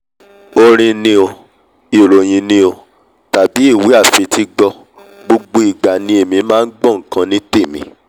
orin ni o ìròhìn ní o tàbí ìwé àfetígbọ́ ìwé àfetígbọ́ gbogbo ìgbà ni èmi máa ngbọ́ nkan ní tèmi